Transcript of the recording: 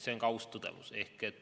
See on aus tõdemus.